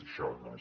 això no és